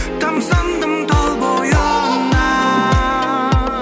тамсандым тал бойына